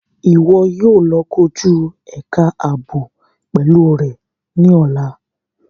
Iwọ yóò lọ koju ẹka aabo pẹlu rẹ ni ọla!